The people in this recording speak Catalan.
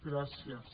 gràcies